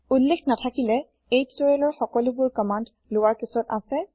উল্লেখ নাথাকিলে এই টিউটৰিয়েলৰ সকলোবোৰ কমান্দ লৱাৰ কেচত আছে